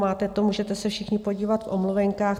Máte to, můžete se všichni podívat v omluvenkách.